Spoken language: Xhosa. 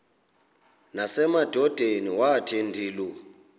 nasemadodeni wathi ndilu